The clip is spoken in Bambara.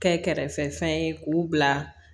Kɛ kɛrɛfɛ fɛn ye k'u bila